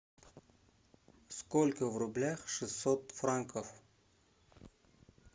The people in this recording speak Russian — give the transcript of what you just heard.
сколько в рублях шестьсот франков